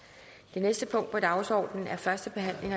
at sikre